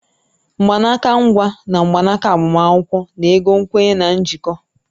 Mgbanaka nkwa na mgbanaka agbamakwụkwọ na-ego nkwenye na njikọ